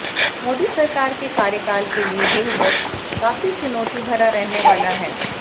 मोदी सरकार के कार्यकाल के लिए यह वर्ष काफी चुनौतीभरा रहने वाला है